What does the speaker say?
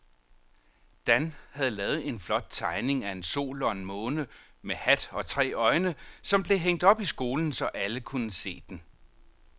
Dan havde lavet en flot tegning af en sol og en måne med hat og tre øjne, som blev hængt op i skolen, så alle kunne se den.